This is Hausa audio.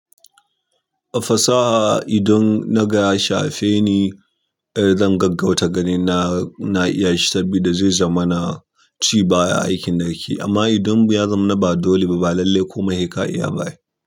A fasaha idan na ga ya shafe ni, zan gaggauta ganin na iya shi saboda zai zama ci baya a aikin da nake. Amma idan ya zamu na ba dole ba, ba lallai kuma sai kaya iya ba.